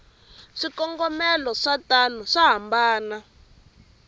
swikongomelo swatona swa hambana